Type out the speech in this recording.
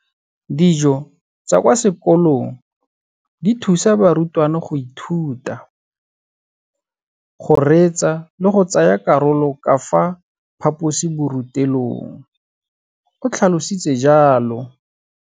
Dijo tsa kwa sekolong dithusa barutwana go ithuta, go reetsa le go tsaya karolo ka fa phaposiborutelong, o tlhalositse jalo.